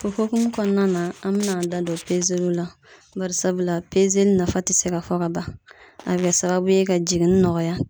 O hokumu kɔnɔna na, an be n'an da don la. Bari sabula pezeli nafa te se ka fɔ ka ban. A be kɛ sababu ye ka jiginni nɔgɔya.